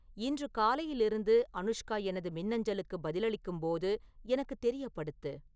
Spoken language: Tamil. இன்று காலையிலிருந்து அனுஷ்கா எனது மின்னஞ்சலுக்குப் பதிலளிக்கும் போது எனக்குத் தெரியப்படுத்து